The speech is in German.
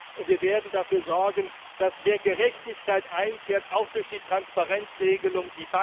Und wir werden dafür sorgen, dass mehr Gerechtigkeit einkehrt, auch durch die Transparenzregelung.